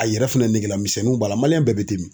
A yɛrɛ fɛnɛ negelamisɛnninw b'a la bɛɛ bɛ ten min.